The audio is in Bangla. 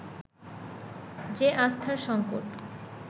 যে আস্থার সংকট